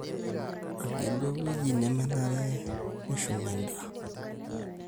Agelu ewueji nemenare nishumie endaa.